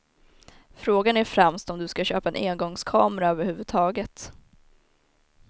Frågan är främst om du ska köpa en engångskamera över huvud taget.